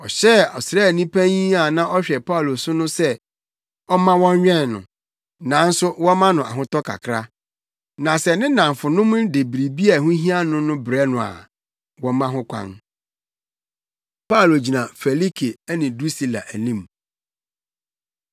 Ɔhyɛɛ ɔsraani panyin a na ɔhwɛ Paulo so no sɛ ɔmma wɔnwɛn no, nanso wɔmma no ahotɔ kakra. Na sɛ ne nnamfonom de biribiara a ɛho hia no no rebrɛ no a, wɔmma ho kwan. Paulo Gyina Felike Ne Drusila Anim